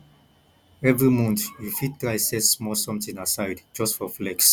evri month yu fit try set small somtin aside just for flex